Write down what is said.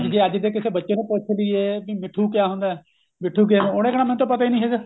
ਜੇ ਅੱਜ ਦੇ ਕਿਸੇ ਬੱਚੇ ਨੂੰ ਪਤਾ ਵੀ ਏ ਕੇ ਮਿੱਠੂ ਕਿਆ ਹੁੰਦਾ ਮਿੱਠੂ ਕਿਆ ਉਹਨੇ ਕਹਿਣਾ ਮੈਨੂੰ ਤਾਂ ਪਤਾ ਈ ਨਹੀਂ ਹੈਗਾ